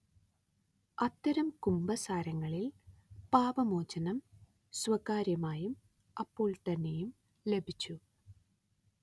അത്തരം കുമ്പസാരങ്ങളിൽ പാപമോചനം സ്വകാര്യമായും അപ്പൊൾത്തന്നെയും ലഭിച്ചു